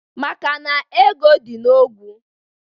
..maka na ego dị n’ogwu